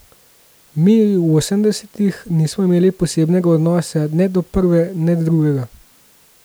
Mi, v osemdesetih, nismo imeli posebnega odnosa ne do prve ne do drugega.